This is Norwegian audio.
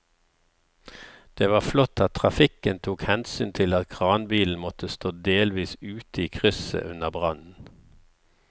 Det var flott at trafikken tok hensyn til at kranbilen måtte stå delvis ute i krysset under brannen.